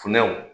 Funɛw